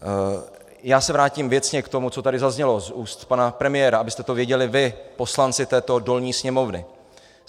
Já se vrátím věcně k tomu, co tady zaznělo z úst pana premiéra, abyste to věděli vy, poslanci této dolní sněmovny.